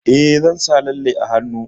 Eh, zan sa lalle a hannu.